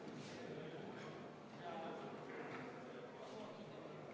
Jätkame kell 18.00.